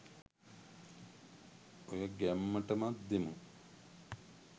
ඔය ගැම්මටමත් දෙමු